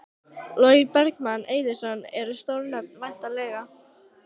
Logi Bergmann Eiðsson: Eru stór nöfn væntanleg?